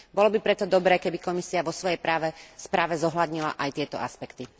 Bolo by preto dobré, keby Komisia vo svojej správe zohľadnila aj tieto aspekty.